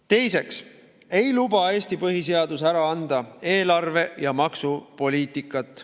Teiseks ei luba Eesti põhiseadus ära anda eelarve‑ ja maksupoliitikat.